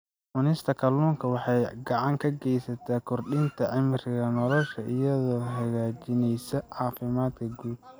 Cunista kalluunka waxay gacan ka geysataa kordhinta cimriga nolosha iyadoo hagaajinaysa caafimaadka guud.